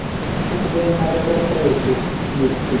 ಸಣ್ಣದೆನಾದ್ರೂ ಕೊಟ್ರೆ ಆಯ್ತು gift .